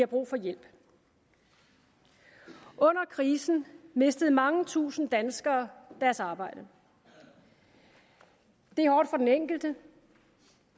brug for hjælp under krisen mistede mange tusinde danskere deres arbejde det er hårdt for den enkelte